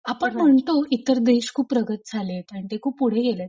आपण म्हणतो इतर देश खूप प्रगत झालेत अन ते खूप पुढे गेलेत.